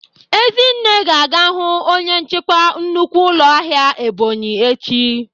Ezinne ga-aga hụ onye nchịkwa nnukwu ụlọ ahịa Ebonyi echi.